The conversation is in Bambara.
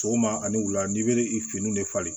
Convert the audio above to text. Sɔgɔma ani wula n i be finiw de falen